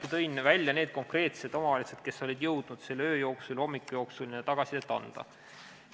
Ma tõesti tõin välja need konkreetsed omavalitsused, kes olid jõudnud selle öö ja hommiku jooksul tagasisidet anda.